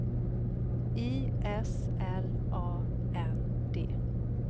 I S L A N D